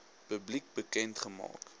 publiek bekend gemaak